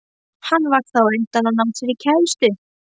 Hann varð þá á undan að ná sér í kærustu.